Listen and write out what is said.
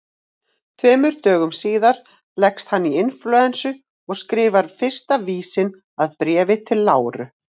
Tveimur dögum síðar leggst hann í inflúensu og skrifar fyrsta vísinn að Bréfi til Láru.